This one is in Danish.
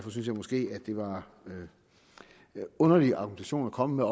synes jeg måske at det var en underlig argumentation at komme